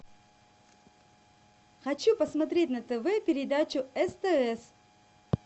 хочу посмотреть на тв передачу стс